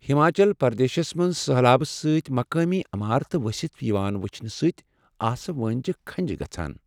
ہماچل پردیشس منٛز سٔہلابہٕ سۭتۍ مقٲمی عمارتہٕ ؤستھ یوان وٕچھنہٕ سۭتۍ آسہٕ وٲنجہ کھنٛجہ گژھان۔